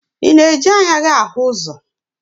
Ị na-eji anya gị ahụ ụzọ?